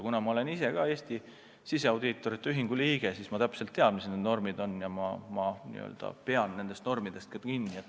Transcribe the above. Kuna ma olen ise ka Eesti Siseaudiitorite Ühingu liige, siis ma tean täpselt, mis need normid on, ja ma pean nendest normidest ka kinni.